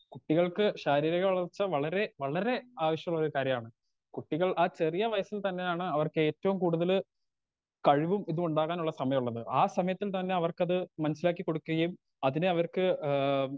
Speaker 2 കുട്ടികൾക്ക് ശാരീരിക വളർച്ച വളരേ വളരേ ആവശ്യള്ളൊരു കാര്യാണ് കുട്ടികൾ ആ ചെറിയ വയസ്സിൽ തന്നെയാണ് അവർക്കേറ്റോം കൂടുതല് കഴിവും ഇതുണ്ടാകാനുള്ള സമയള്ളത് ആ സമയത്തും തന്നെ അവർക്കത് മനസ്സിലാക്കി കൊടുക്കുകയും അതിനെ അവർക്ക് ഏ.